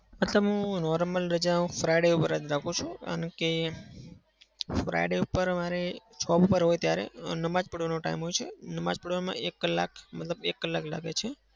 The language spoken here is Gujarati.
મતલબ હું normal રજાઓ હું Friday પર જ રાખું છું. કારણ કે friday પર મારે job પર હોય ત્યારે નમાજ પઢવાનો time હોય છે. નમાજ પઢવામાં એક કલાક મતલબ એક કલાક લાગે છે.